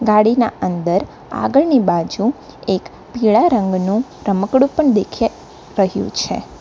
ગાડી ના અંદર આગળની બાજુ એક પીળા રંગનું રમકડું પણ દેખિયા રહ્યું છે.